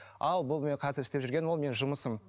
ал бұл менің қазір істеп жүрген ол менің жұмысым